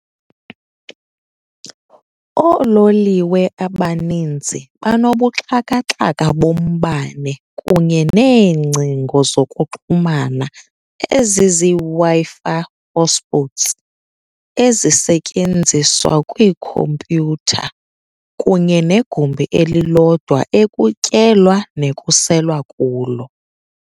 Oololiwe abaninzi banobuxhakaxhaka bombane kunye neengcingo zokuxhumana ezizii-Wi-Fi hotspots ezisetyenziswa kwiikhompyutha, kunye negumbi elilodwa ekutyelwa nekuselwa kulo.